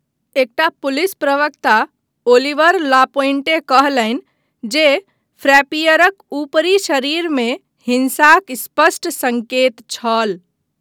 एकटा पुलिस प्रवक्ता Oliver Lapointe कहलनि जे फ्रैपीयरक ऊपरी शरीरमे 'हिँसाक स्पष्ट सङ्केत' छल।